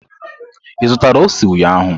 Ị zụtara ose ụnyahụ?